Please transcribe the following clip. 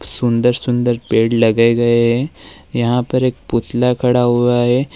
सुंदर सुंदर पेड़ लगाए गए हैं यहां पर एक पुतला खड़ा हुआ है।